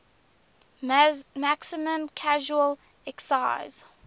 maximum casual excise